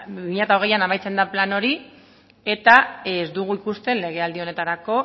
bi mila hogeian amaitzen da plan hori eta ez dugu ikusten legealdi honetarako